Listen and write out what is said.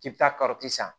K'i bɛ taa san